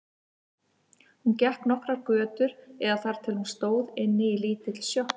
Hún gekk nokkrar götur eða þar til hún stóð inni í lítilli sjoppu.